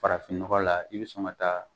Farafin nɔgɔ la i bɛ sɔn ka taa